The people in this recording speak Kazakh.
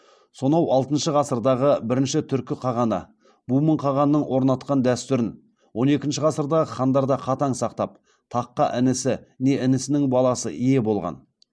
сонау алтыншы ғасырдағы бірінші түркі қағаны бумын қағанның орнатқан дәстүрін он екінші ғасырдағы хандар да қатаң сақтап таққа інісі не інісінің баласы ие болған